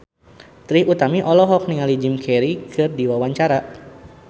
Trie Utami olohok ningali Jim Carey keur diwawancara